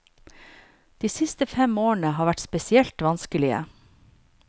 De siste fem årene har vært spesielt vanskelige.